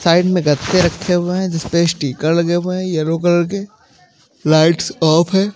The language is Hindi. साइड में गते रखे हुए हैं जिस पे स्टीकर लगे हुए हैं येलो कलर के लाइट्स ऑफ है।